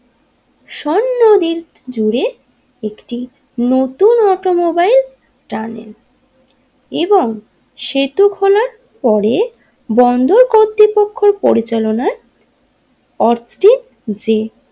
নদী জুড়ে একটি নতুন অটোমোবাইল স্টার্ট হয় এবং সেতু খোলার পরে বন্দর কর্তৃপক্ষের পরিচালনায় অর্ব টিজি।